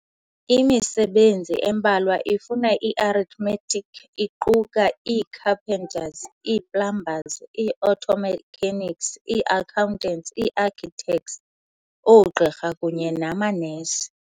Imisebenzi embalwa efuna i-arithmetic iquka ii-carpenters, ii-plumbers, ii-auto mechanics, ii-accountants, ii-architects, oogqirha, kunye namanesi.